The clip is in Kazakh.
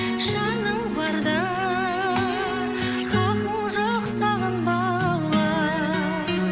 жаның барда хақың жоқ сағынбауға